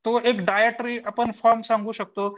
एक डाएटरी आपण फॉर्म सांगू शकतो